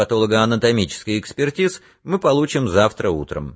патологоанатомический экспертиз мы получим завтра утром